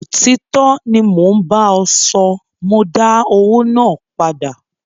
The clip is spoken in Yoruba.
Òtítọ́ ni mo ń bá ọ sọ, mọ dá owó náà padà.